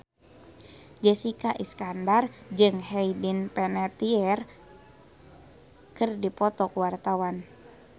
Jessica Iskandar jeung Hayden Panettiere keur dipoto ku wartawan